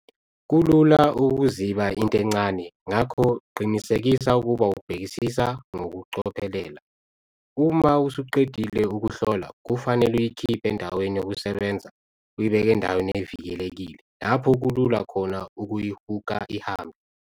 Kulula ukuziba into encane ngakho qinisekisa ukuba ubhekisisa ngokucophelela. Uma usuqedile ukuhlola kufanele uyikhiphe endaweni yokusebenza uyibeke endaweni evikelekile lapho kulula khona ukuyihhuka ihambe.